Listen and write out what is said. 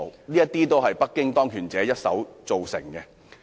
這些都是北京當權者一手造成的。